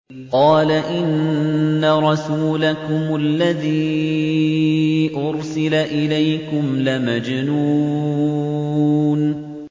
قَالَ إِنَّ رَسُولَكُمُ الَّذِي أُرْسِلَ إِلَيْكُمْ لَمَجْنُونٌ